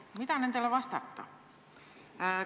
Mida nendele vastata?